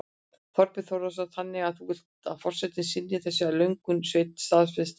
Þorbjörn Þórðarson: Þannig að þú vilt að forsetinn synji þessum lögum staðfestingar?